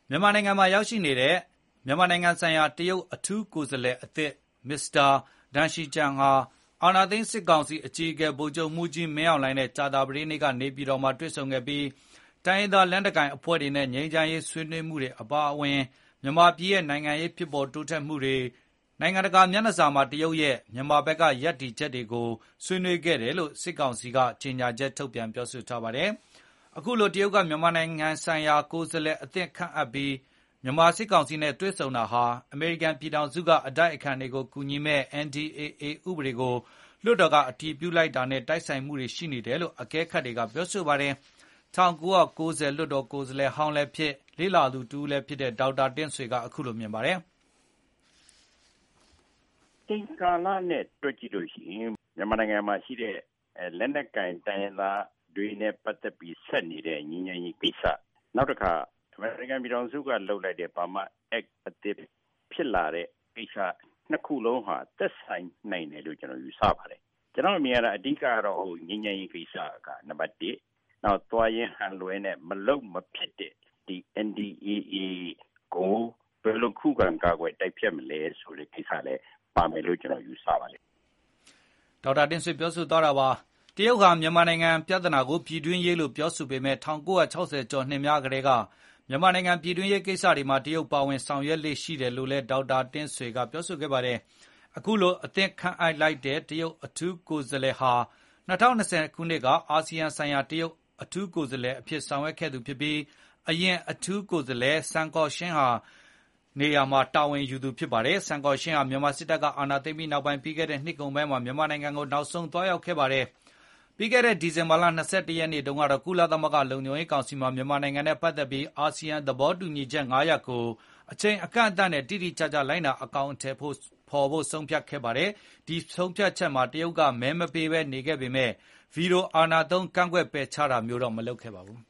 မြန်မာနိုင်ငံမှာ ရောက်ရှိနေတဲ့ မြန်မာနိုင်ငံဆိုင်ရာ တရုတ်အထူးကိုယ်စားလှယ် မစ္စတာ Deng Xijun ဟာ အာသိမ်း စစ်ကောင်စီ အကြီးအကဲ ဗိုလ်ချုပ်မှုးကြီး မင်းအောင်လှိုင် နဲ့ ကြာသပတေးနေ့ က နေပြည်တော်မှာ တွေ့ဆုံခဲ့ပြီး တိုင်းရင်းသား လက်နက်ကိုင်အဖွဲ့တွေနဲ့ ငြိမ်းချမ်းရေးဆွေးနွေးမှုတွေ အပါအဝင်၊ မြန်မာပြည်ရဲ့ နိုင်ငံရေး ဖြစ်ပေါ်တိုးတက်မှုတွေ၊ နိုင်ငံတကာမျက်နှာစာမှာ တရုတ်ရဲ့ မြန်မာဘက်က ရပ်တည်ချက်တွေကို ဆွေးနွေးခဲ့တယ်လို့ စစ်ကောင်စီက ကြေညာချက် ထုတ်ပြန်ပြောဆိုပါတယ်။ အခုလို တရုတ်က မြန်မာနိုင်ငံဆိုင်ရာ ကိုယ်စားလှယ်သစ်ခန့်အပ်ပြီး မြန်မာစစ်ကောင်စီနဲ့ တွေ့ဆုံတာဟာ အမေရိကန် ပြည်ထောင်စုက အတိုက်အခံတွေကိုကူညီမယ့် NDAA ဥပဒေကို လွှတ်တော်က အတည်ပြုလိုက်တာနဲ့ တိုက်ဆိုင်မှု ရှိနေတယ်လို့ အကဲခတ်တွေကပြောဆိုပါတယ်။ ၁၉၉၀ လွှတ်တော် ကိုယ်စားလှယ်ဟောင်းလည်းဖြစ် လေ့လာသူ တဦးလည်းဖြစ်တဲ့ Dr. Tint Swe ကအခုလိုမြင်ပါတယ်။ " အချိန်ကာလ နဲ့ တွက်ကြည့်လို့ရှိရင် မြန်မာနိုင်ငံမှာရှိကြတဲ့ လက်နက်ကိုင် တိုင်းရင်းသားတွေ နဲ့ ပတ်သက်ပြီး ဆက်နေတဲ့ ငြိမ်းချမ်းရေးကိစ္စ ၊ နောက်တခါ အမေရိကန် ပြည်ထောင်စု က လုပ်လိုက်တဲ့ Burma Act ကိစ္စ (၂) ခုစလုံးဟာ သက်ဆိုင်နိုင်တယ်လို့ ကျနော်ယူဆပါတယ်။ ကျနော်အမြင်ကတော့ အဓိက က ငြိမ်းချမ်းရေးကိစ္စ က နံပတ် ၁ ။ နောက်သွားရင် ဟန်လွှဲနဲ့ မလုပ်မဖြစ်တဲ့ NDAA ကို ဘယ်လို ခုခံကာကွယ်တိုက်ဖျက်မလဲဆိုတဲ့ကိစ္စလည်း ပါမယ်လို့ ကျနော်ယူဆပါတယ်" တရုတ်ဟာ မြန်မာနိုင်ငံ ပြဿနာကို ပြည်တွင်းရေးလို့ ပြောဆိုပေမယ့်၊ ၁၉၆၀ ကျော်နှစ်များကတည်းက မြန်မာနိုင်ငံ ပြည်တွင်းရေးကိစ္စတွေမှာ တရုတ်ကပါဝင် ဆောင်ရွက်လေ့ရှိတယ်လို့လည်း ဒေါက်တာတင့်ဆွေ ကပြောဆိုခဲ့ပါတယ်။ အခုအသစ်ခန့်အပ်လိုက်တဲ့ တရုတ်အထူး ကိုယ်စားလှယ် Deng Xijun ဟာ ၂ဝ၂ဝ ခုနှစ်က အာဆီယံဆိုင်ရာ တရုတ်အထူးကိုယ်စားလှယ်အဖြစ်ဆောင်ရွက်ခဲ့ သူဖြစ်ပြီး အရင်အထူးကိုယ်စားလှယ် Sun Guoxiang နေရာမှာ ဆက်လက်တာဝန်ယူခဲ့သူ ဖြစ်ပါတယ်။ Sun Gouxiang ဟာ စစ်တပ်ကအာဏာသိမ်းပြီးနောက်၊ ပြီးခဲ့နှစ်ကုန်ပိုင်းမှာ မြန်မာနိုင်ငံကို နောက်ဆုံးသွားရောက်ခဲ့တာပါ။ ပြီးခဲ့တဲ့ ဒီဇင်ဘာလ ၂၁ ရက်နေ့ ကတော့ ကုလသမဂ္ဂ လုံခြုံရေးကောင်စီမှာ မြန်မာနိုင်ငံနဲ့ ပတ်သက်ပြီး၊ အာဆီယံ သဘောတူညီချက် ၅ ရပ်ကို အချိန်အကန့်အသတ်နဲ့ တိတိကျကျလိုက်နာ အကောင်အထည်ဖေါ်ဖို့ ဆုံးဖြတ်ခဲ့ပါတယ်။ ဒီဆုံးဖြတ်ချက်မှာ တရုတ်က မဲမပေးဘဲနေခဲ့ပေမယ့်၊ ဗွီဒိုအာဏာသုံး ကန့်ကွက် ပယ်ချတာလည်း မလုပ်ခဲ့ပါဘူး